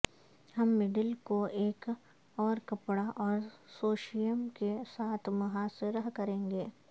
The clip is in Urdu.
ہم مڈل کو ایک اور کپڑا اور سوشییم کے ساتھ محاصرہ کریں گے